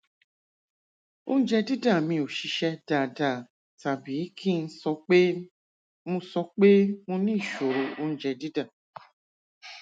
oúnjẹ dídà mi ò ṣiṣẹ dáadáa tàbí kí n sọ pé mo sọ pé mo ní ìṣòro oúnjẹ dídà